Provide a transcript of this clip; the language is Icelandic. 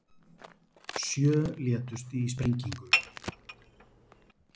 Sjö létust í sprengingu